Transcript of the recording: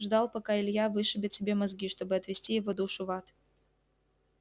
ждал пока илья вышибет себе мозги чтобы отвести его душу в ад